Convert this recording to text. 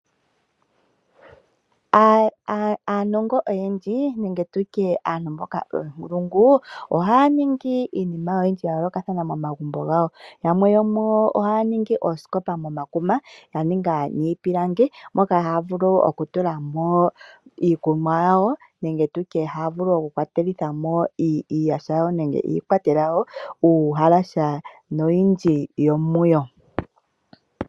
Aanongo oyendji nenge aantu mboka oonkulungu, ohaya ningi iilongomwa ya yoolokathana yo momagumbo. Yamwe yo muyo ohaya ningi oosikopa momakuma, ya ningwa miipilangi moka haya vulu okutula mo iikwatelwa ngaashi iihaya yawo nenge uuhalasa nosho tu.